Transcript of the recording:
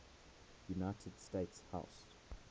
united states house